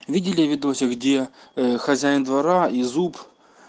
видели видосик где хозяин двора и зуб